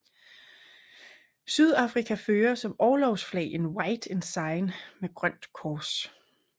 Sydafrika fører som orlogsflag en White Ensign med grønt kors